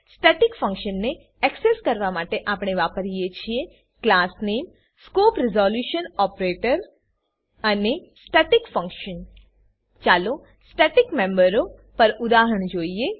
static ફંક્શનને access કરવા માટે આપણે વાપરીએ છીએ ક્લાસનેમ ક્લાસનામ સ્કોપ રીઝોલ્યુશન ઓપરેટર અને staticfunction સ્ટેટિકફંક્શન ચાલો સ્ટેટિક મેમ્બરો પર ઉદાહરણ જોઈએ